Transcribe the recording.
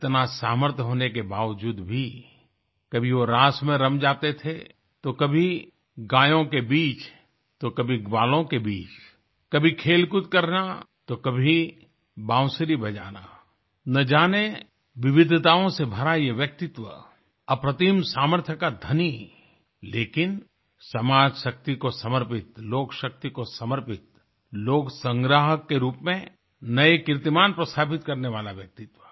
इतना सामर्थ्य होने बावजूद भी कभी वो रास में रम जाते थे तो कभी गायों के बीच तो कभी ग्वालों के बीच कभी खेलकूद करना तो कभी बांसुरी बजाना ना जाने विविधताओं से भरा ये व्यक्तित्व अप्रतिम सामर्थ्य का धनी लेकिन समाजशक्ति को समर्पित लोकशक्ति को समर्पित लोकसंग्राहक के रूप में नये कीर्तिमान को स्थापित करने वाला व्यक्तित्व